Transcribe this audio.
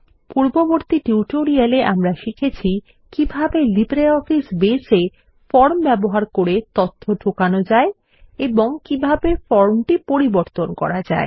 পূর্ববর্তী টিউটোরিয়ালে আমরা শিখেছি কিভাবে লিব্রিঅফিস বেস এ ফর্ম ব্যবহার করে তথ্য ঢোকানো যায় এবং কিভাবে ফর্মটি পরিবর্তন করা যায়